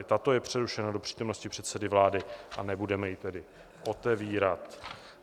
I tato je přerušena do přítomnosti předsedy vlády, a nebudeme ji tedy otevírat.